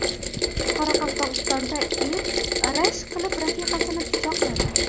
Qoraqalpog‘istonda er rashk qilib rafiqasini pichoqladi.